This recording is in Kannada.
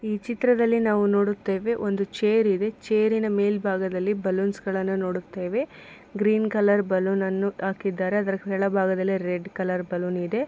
ಈ ಚಿತ್ರದಲ್ಲಿ ನಾವು ನೋಡುತ್ತೇವೆ ಒಂದು ಚೇರಿದೆ ಚೇರಿನ ಮೇಲ್ಭಾಗದಲ್ಲಿ ಬಲೂನ್ಸ್ ಗಳನ್ನು ನೋಡುತ್ತೇವೆ ಗ್ರೀನ್ ಕಲರ್ ಬಲೂನನ್ನು ಹಾಕಿದ್ದಾರೆ ಅದರ ಕೆಳ ಭಾಗದಲ್ಲಿ ರೆಡ್ ಕಲರ್ ಬಲೂನ್ ಇದೆ.